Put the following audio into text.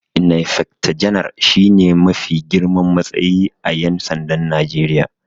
Inaifecta Ganar shi ne mafi girman matsayi a Ƴan sandan Najeriya.